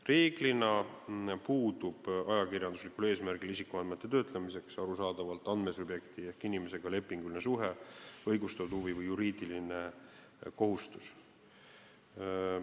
Reeglina puudub ajakirjanduslikul eesmärgil isikuandmete töötlemisel andmesubjekti ehk inimesega arusaadavalt lepinguline suhe, puudub õigustatud huvi või juriidiline kohustus.